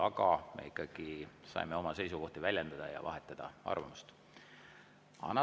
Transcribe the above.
Aga me saime oma seisukohti väljendada ja arvamust vahetada.